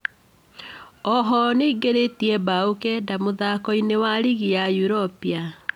Oho nĩaingĩrĩtie mbaũ kenda mũthako-ini wa rigi ya Europa